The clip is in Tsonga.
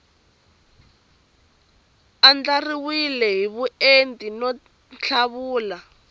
andlariwile hi vuenti no tlhavula